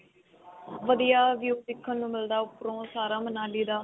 ਵਧੀਆ view ਦੇਖਣ ਨੂੰ ਮਿਲਦਾ ਉਪਰੋਂ ਸਾਰਾ ਮਨਾਲੀ ਦਾ.